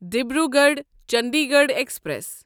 Dibrugarh Chandigarh express